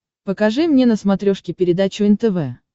покажи мне на смотрешке передачу нтв